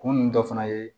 Kun dɔ fana ye